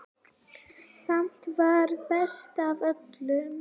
Samt varstu best af öllum.